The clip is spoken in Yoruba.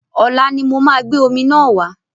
Ọ̀la ni mo máa gbé omi náà wá.